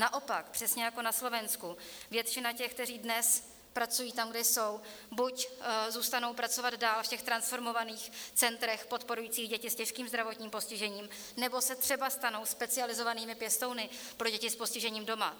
Naopak, přesně jako na Slovensku, většina těch, kteří dnes pracují tam, kde jsou, buď zůstanou pracovat dál v těch transformovaných centrech podporujících děti s těžkým zdravotním postižením, nebo se třeba stanou specializovanými pěstouny pro děti s postižením doma.